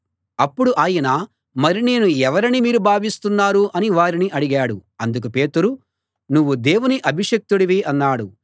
అప్పుడు ఆయన మరి నేను ఎవరని మీరు భావిస్తున్నారు అని వారిని అడిగాడు అందుకు పేతురు నువ్వు దేవుని అభిషిక్తుడివి అన్నాడు